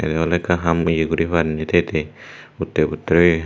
iyen ole ekkan ham yea guri par ni they they utte butte oyi.